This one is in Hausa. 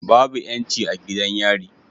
Babu yanci a gidan yari